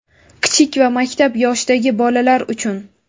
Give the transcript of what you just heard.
Kichik va maktab yoshidagi bolalar uchun.